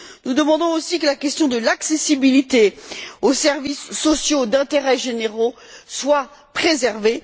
Nous demandons aussi que la question de l'accessibilité aux services sociaux d'intérêt généra soit préservée.